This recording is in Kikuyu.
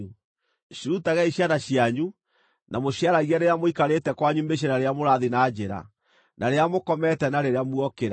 Cirutagei ciana cianyu, na mũciaragie rĩrĩa mũikarĩte kwanyu mĩciĩ na rĩrĩa mũrathiĩ na njĩra, na rĩrĩa mũkomete na rĩrĩa muokĩra.